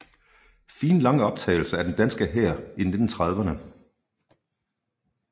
Fine lange optagelser af den danske hær i 1930erne